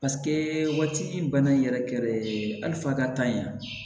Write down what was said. waati min bana yɛrɛ kɛrɛ hali fa ka taa yan